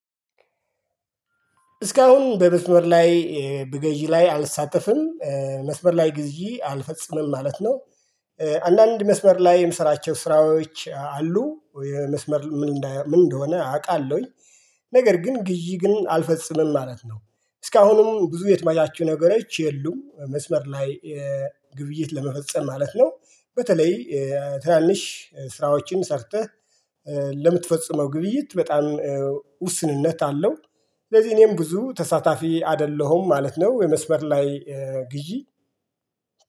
እስካሁን በመስመር ላይ በግዢ ላይ አልሳተፍም መስመር ላይ ግዥ አልፈጽምም ማለት ነው። አንዳንድ መስመር ላይ የምሰራቸው ስራዎች አሉ የመስመር ምን እንደሆነ አቃለሁኝ። ነገር ግን ግዥ ግን አልፈጽምም ማለት ነው። እስካሁንም ብዙ የተመቻቹ ነገሮች የሉም መስመር ላይ ግብይት ለመፈጸም ማለት ነው። በተለይ ትናንሽ ስራዎችን ሰርተህ ለምትፈጽመው ግብይት በጣም ውስንነት አለው። ስለዚህ እኔም ብዙ ተሳታፊ አደለሁም ማለት ነው። የመስመር ላይ ግዢ